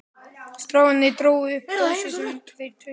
Strákarnir drógu upp dósir sem þeir töluðu í.